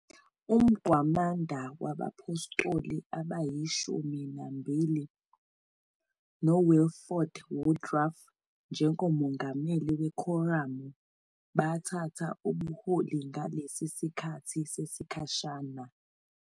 Umgwamanda wabaPhostoli AbayiShumi Nambili, noWilford Woodruff njengomongameli wekhoramu, bathatha ubuholi ngalesi sikhathi sesikhashana.